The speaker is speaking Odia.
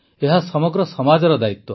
ଏହା ସମଗ୍ର ସମାଜର ଦାୟିତ୍ୱ